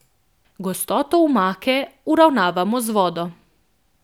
Gostoto omake uravnavamo z vodo.